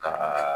Ka